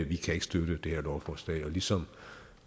vi kan ikke støtte det her lovforslag og ligesom